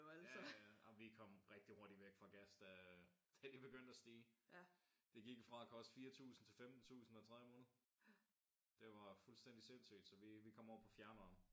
Ja ja ja jamen vi kom rigtigt hurtigt væk fra gas da da det begyndte at stige. Det gik jo fra at koste 4000 til 15000 hver tredje måned. Det var fuldstændigt sindssygt så vi vi kom over på fjernvarme